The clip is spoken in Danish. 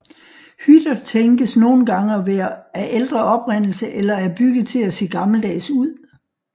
Hytter tænkes nogen gange at være af ældre oprindelse eller er bygget til at se gammeldags ud